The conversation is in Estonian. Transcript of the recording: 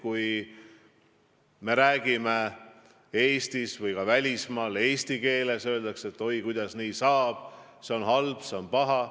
Kui me räägime välismaal eesti keeles, siis öeldakse, et oi, kuidas nii saab, see on halb, see on paha.